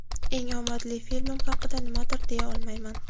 Eng omadli filmim haqida nimadir deya olmayman.